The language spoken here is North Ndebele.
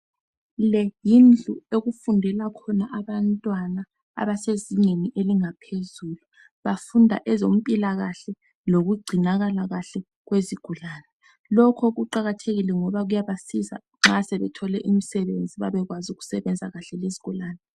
Leyindlu okufundela khona abantwana abezingeni langaphezulu bafunda eZempilakahle lokugcinakala kahle kwezigulane lokho kuqakathekile ngoba kuyabanceda ukuthi nxa bengathola umsebenzi bebekeazi ukusebenza kahle lezigulane